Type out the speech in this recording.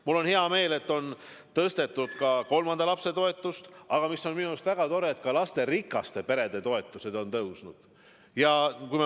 Mul on hea meel, et on tõstetud lapsetoetust alates kolmandast lapsest, ja mis on minu arust veel väga tore: ka lasterikaste perede toetused on tõusnud.